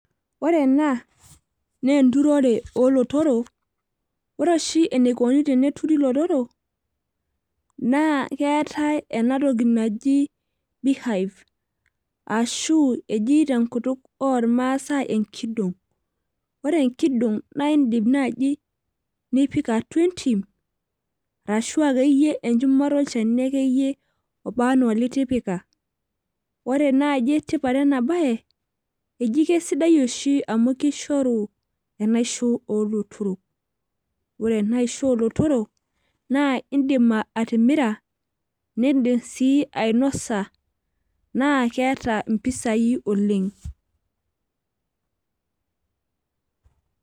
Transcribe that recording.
ore ena naa enturere oolotorok. ore oshi eneikoni teneturi ilotorok. naa keetae enatoki naji, beehive ashu eji tenkutuk oormaasae enkidong',ore enkidong' naa idim naaji ipik atua entim ashu enchumata olchani akeyie oba anaa olitipika. ore naaji tipat ena bae eji kisidai oshi amu kishoru enaisho oolotorok. ore enaisho oolotorok, naa idim atimira, nidim sii ainosa naa keeta mpisai oleng.